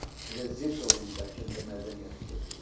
Bizə zidd olan bəlkə də mədəniyyəti götürürlər.